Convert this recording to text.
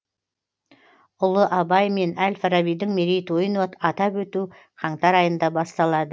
ұлы абай мен әл фарабидің мерейтойын атап өту қаңтар айында басталады